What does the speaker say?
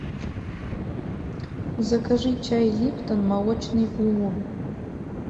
закажи чай липтон молочный улун